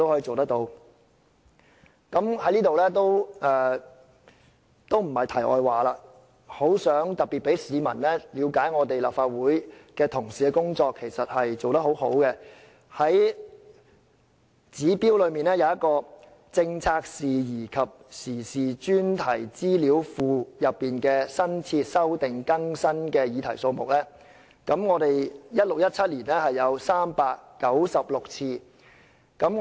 這不是題外話，我想讓市民了解立法會同事的工作其實做得很好，指標中有一項"政策事宜及時事專題資料庫內新設/修訂/更新的議題數目 "，2016-2017 年度的預算是396個。